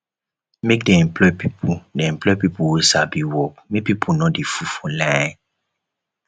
make dem employ pipu dem employ pipu wey sabi work make pipu no dey full for line